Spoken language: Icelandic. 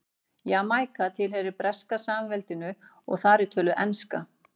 Jamaíka tilheyrir Breska samveldinu og þar er töluð enska.